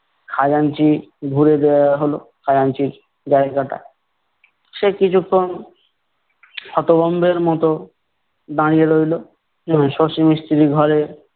খাজাঞ্চি হলো, খাজাঞ্চির জায়গাটা। সে কিছুক্ষন হতভম্বের মতো দাঁড়িয়ে রইলো শশী মিস্ত্রি ঘরে-